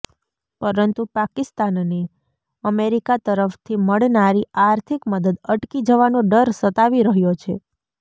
પરંતુ પાકિસ્તાનને અમેરિકા તરફથી મળનારી આર્થિક મદદ અટકી જવાનો ડર સતાવી રહ્યો છે